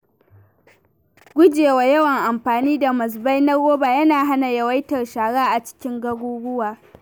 Guje wa yawan amfani da mazubai na roba yana hana yawaitar shara a cikin garuruwa.